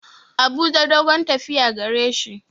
Abuja dogon tafiya gareshi.